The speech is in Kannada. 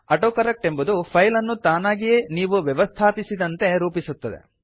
ಆಟೋಕರಕ್ಟ್ ಎಂಬುದು ಫೈಲ್ ಅನ್ನು ತಾನಾಗಿಯೇ ನೀವು ವ್ಯವಸ್ಥಾಪಿಸಿದಂತೆ ರೂಪಿಸುತ್ತದೆ